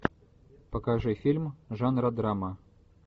покажи фильм жанра драма